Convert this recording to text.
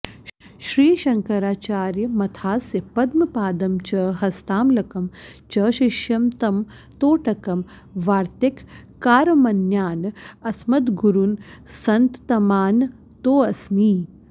श्रीशङ्कराचार्यमथास्य पद्मपादं च हस्तामलकं च शिष्यम् तं तोटकं वार्त्तिककारमन्यान् अस्मद्गुरून् सन्ततमानतोऽस्मि